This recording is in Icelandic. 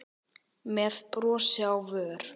með brosi á vör.